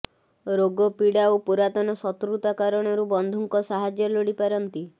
ରୋଗପୀଡା ଓ ପୁରାତନ ଶତ୍ରୁତା କାରଣରୁ ବନ୍ଧୁଙ୍କ ସାହାଯ୍ୟ ଲୋଡିପାରନ୍ତି